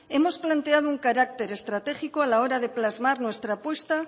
hemos planteado un carácter estratégico a la hora de plasmar nuestra apuesta